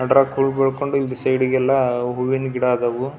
ಅದ್ರಾಗ ಹುಲ್ ಬೀಳ್ಕೊಂಡು ಸೈಡೆಗೆಲ್ಲ ಹೂವಿನ ಗಿಡ ಅದಾವು.